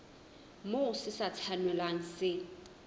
moo se sa tshwanelang se